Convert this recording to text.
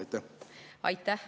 Aitäh!